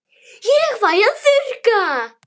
Ég fæ að þurrka.